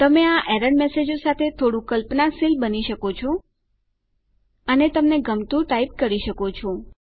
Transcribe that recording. તમે આ એરર મેસેજો સાથે થોડું કલ્પનાશીલ બની શકો છો અને તમને ગમતું ટાઈપ કરી શકો છો